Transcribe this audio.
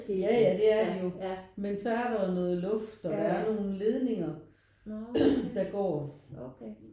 Ja ja det er de jo men så er der jo noget luft og der er nogen ledninger der går